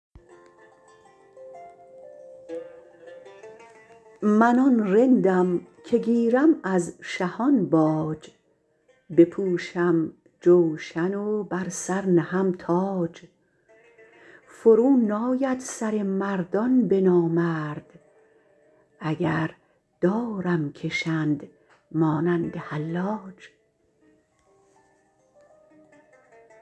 من آن رندم که گیرم از شهان باج بپوشم جوشن و بر سر نهم تاج فرو ناید سر مردان به نامرد اگر دارم کشند مانند حلاج